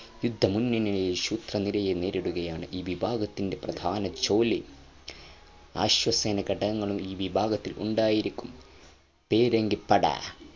യുദ്ധമുന്നണിയിൽ ശത്രുനിരയെ നേരിടുകയാണ് ഈ വിഭാഗത്തിൻ്റെ പ്രധാന ജോലി അശ്വസേന ഘടകങ്ങളും ഈ വിഭാഗത്തിൽ ഉണ്ടായിരിക്കും പീരങ്കിപ്പട